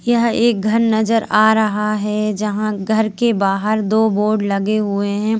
यह एक घर नजर आ रहा है जहां घर के बाहर दो बोर्ड लगे हुए हैं।